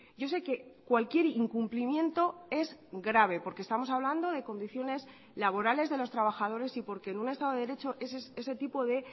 yo sé que cualquier incumplimiento es grave porque estamos hablando de condiciones laborales de los trabajadores y porque en un estado de derecho ese tipo de